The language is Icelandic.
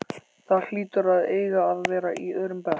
Það hlýtur að eiga að vera í öðrum bekk.